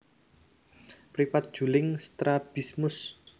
Mripat juling strabismus